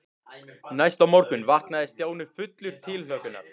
Næsta morgun vaknaði Stjáni fullur tilhlökkunar.